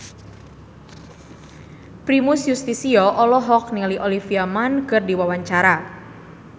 Primus Yustisio olohok ningali Olivia Munn keur diwawancara